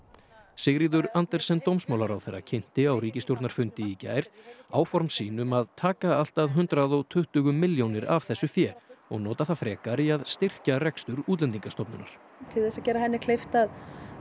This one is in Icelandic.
Sigríður Andersen dómsmálaráðherra kynnti á ríkisstjórnarfundi í gær áform sín um að taka allt að hundrað og tuttugu milljónir af þessu fé og nota það frekar í að styrkja rekstur Útlendingastofnunar til þess að gera henni kleift að